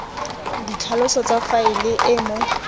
ditlhaloso tsa faele e mo